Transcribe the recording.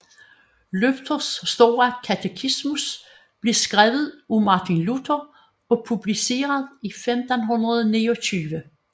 Luthers store Katekismus blev skrevet af Martin Luther og publiceret i 1529